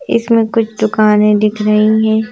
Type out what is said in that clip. इसमें कुछ दुकानें दिख रही हैं।